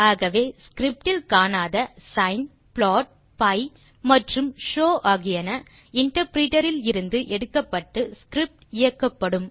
ஆகவே ஸ்கிரிப்ட் இல் காணாத சின் ப்ளாட் பி மற்றும் ஷோவ் ஆகியன இன்டர்பிரிட்டர் இலிருந்து எடுக்கப்பட்டு ஸ்கிரிப்ட் இயக்கப்படும்